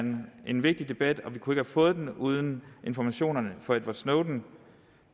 en vigtig debat og vi kunne have fået den uden informationerne fra edward snowden